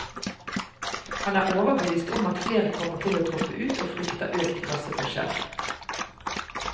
Han er overbevist om at flere kommer til å droppe ut, og frykter økt klasseforskjell.